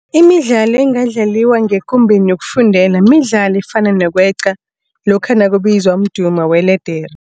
Imidlalo engadlaliwa ngekumbeni yokufundela midlalo efana nokweqa lokha nakubizwa umdumo weledere.